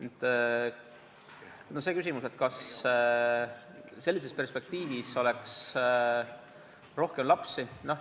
Nüüd see küsimus, kas sellise perspektiivi korral oleks rohkem lapsi.